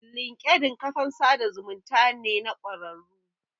Linkedin ƙafan sada zumunta ne na kwararru